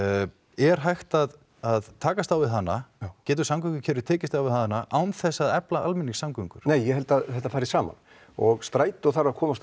er hægt að að takast á við hana getur samgöngukerfið tekist á við hana án þess að efla almenningssamgöngur nei ég held að þetta fari saman og strætó þarf að komast á